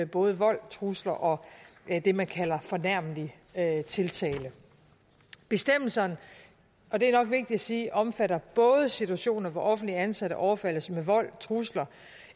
både vold trusler og det man kalder fornærmelig tiltale bestemmelserne og det er nok vigtigt at sige omfatter både situationer hvor offentligt ansatte overfaldes med vold trusler